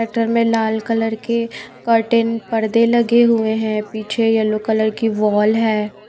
Tractor में लाल colour के कर्टेन परदे लगे हुए हैं। पीछे येलो कलर की वॉल है।